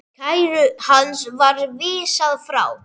Kæru hans var vísað frá.